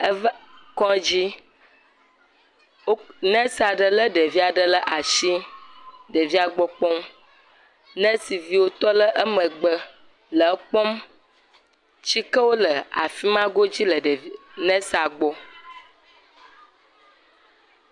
Eva kɔdzi, wo… nɛs aɖe lé ɖevi aɖe le asi, ɖevia gbɔ kpɔm. Nɛsi viwo tɔ le emegbe le ekpɔm, tsikewo le afi ma godzi le ɖevi.. nɛsia gbɔ